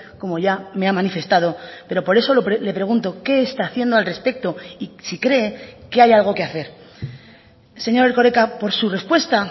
como ya me ha manifestado pero por eso le pregunto qué está haciendo al respecto y si cree que hay algo que hacer señor erkoreka por su respuesta